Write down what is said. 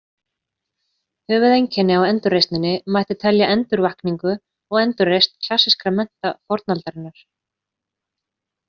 Höfuðeinkenni á endurreisninni mætti telja endurvakningu og endurreisn klassískra mennta fornaldarinnar.